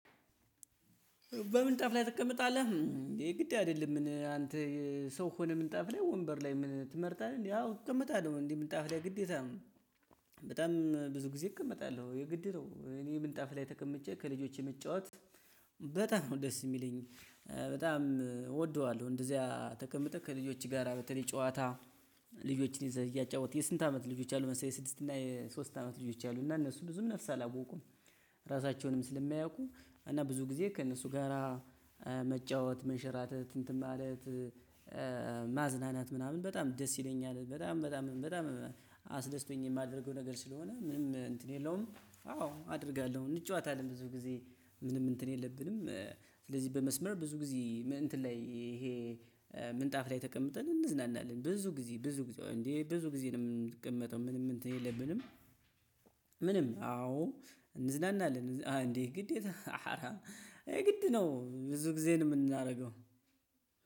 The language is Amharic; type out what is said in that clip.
በምንጣፍ ላይ ትቀመጣለህ? የግድ አይደለም ምን አንተ ሰው ሆነ ምንጣፍ ላይ ወንበር ላይ ምን ትመርጣለህ እንዴ? አው እቀመጣለሁ እንዴ ምንጣፍ ላይ ግዴታ ነው። በጣም ብዙ ጊዜ እቀመጣለሁ የግድ ነው እኔ ምንጣፍ ላይ ተቀምጬ ከልጆቼ መጫወት በጣም ነው ደስ የሚለኝ። በጣም እወደዋለሁ እንደዚያ ተቀምጠህ ከልጆች ጋራ በተለይ ጨዋታ። ልጆችን ይዘህ እያጫወትክ የስንት አመት ልጆች አሉ መሰለህ? የስድስት እና የሶስት አመት ልጆች አሉኝ እና እነሱ ብዙም ነፍስ አላወቁም። ራሳቸውንም ስለማያውቁ እና ብዙ ጊዜ ከእነሱ ጋራ መጫወት መንሸራተት እንትን ማለት። ማዝናናት ምናምን በጣም ደስ ይለኛል። በጣም በጣም በጣም አስደስቶኝ የማደርገው ነገር ስለሆነ ምንም እንትን የለውም። አዎ አደርጋለሁ እንጫወታለን ብዙ ጊዜ ምንም እንትን የለብንም። ስለዚህ በመስመር ብዙ ጊዜ እንትን ላይ ይሄ ምንጣፍ ላይ ተቀምጠን እንዝናናለን። ብዙ ጊዜ ብዙ ጊዜ እንዴ ብዙ ጊዜ ነው የምንቀመጠው ምንም እንትን የለብንም። ምንም አዎ እንዝናናለን እንዴ ግዴታ አረ የግድ ነው ብዙ ጊዜ ነው የምናደርገው።